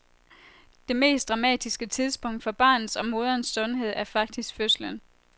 Det mest dramatiske tidspunkt for barnets og moderens sundhed er faktisk fødslen.